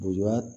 Buba